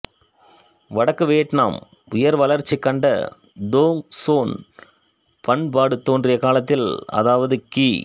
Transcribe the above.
வடக்கு வியட்நாமில் உயர்வளர்ச்சிகண்ட தோங் சோன் பண்பாடு தோன்றிய காலத்தில் அதாவது கி